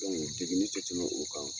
Dɔnku deguni tɛ tɛmɛ o kan.